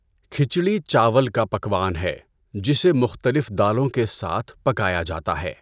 کھچڈی چاول کا پکوان ہے، جسے مختلف دالوں کے ساتھ پکایا جاتا ہے۔